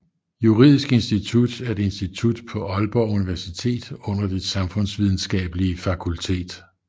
Juridisk Institut er et institut på Aalborg Universitet under Det Samfundsvidenskabelige Fakultet